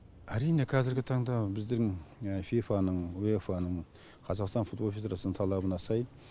әрине қазіргі таңда біздер фифа ның уефа ның қазақстан футбол федерациясының талабына сай